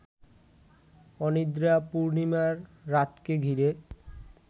অনিদ্রা পূর্ণিমার রাতকে ঘিরে